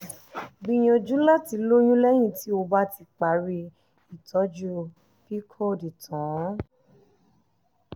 gbìyànjú láti lóyún lẹ́yìn tí o bá ti parí ìtọ́jú pcod tán